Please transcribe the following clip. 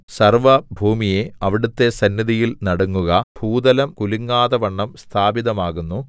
സർവ്വഭൂമിയേ അവിടുത്തെ സന്നിധിയിൽ നടുങ്ങുക ഭൂതലം കുലങ്ങാതവണ്ണം സ്ഥാപിതമാകുന്നു